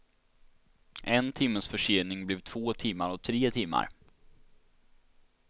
En timmes försening blev två timmar och tre timmar.